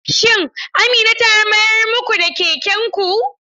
Shin Amina ta mayar muku da kekenku?